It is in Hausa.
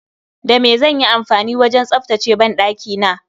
Da me zanyi amfani wajen tsaftace banɗakina?